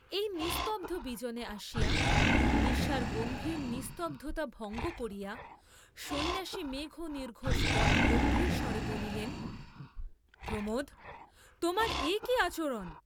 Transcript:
এই নিস্তব্ধ বিজনে আসিয়া, নিশার গভীর নিস্তব্ধতা ভঙ্গ করিয়া সন্ন্যাসী মেঘনির্ঘোষবৎ গম্ভীরস্বরে বলিলেন, প্রমোদ, তোমার এ কি আচরণ?